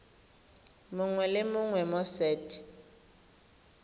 mongwe le mongwe mo set